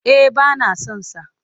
Eh ba na son sa.